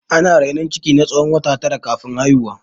Ana rainon ciki na tsawon wata tara kafin a haihu.